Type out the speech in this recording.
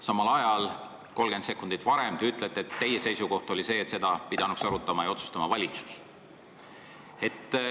Samal ajal ütlesite 30 sekundit varem, et teie seisukoht on see, et seda pidanuks arutama ja otsustama valitsus.